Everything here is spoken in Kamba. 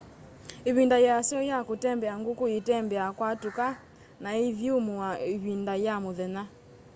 ivinda yasyo ya kutembea nguku itembea kwatuka na iithyumua ivinda ya muthenya